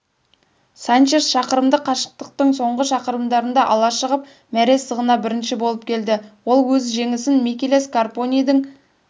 санчес шақырымдық қашықтықтың соңғы шақырымдарында ала шығып мәре сызығына бірінші болып келді ол өз жеңісінмикеле скарпонидің